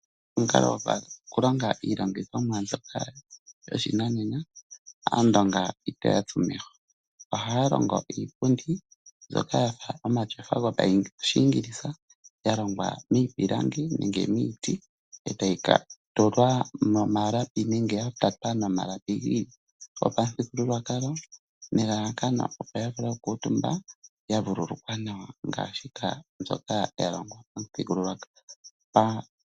Omukalo gokulonga iilongithomwa mbyoka dhoshinanena aandonga itoya tsu meho, ohaa longo iipundi mbyoka yafa omatyofa gopashiingilisa yalongwa miipilangi nenge miiti etayi tulwa momalapi nenge yatatwa nomalapi gopamuthigululwakalo nelalakano opo yavule okukuutumba yavululukwa nawa ngaashika mbyoka yalongwa pamuthigululwakalo.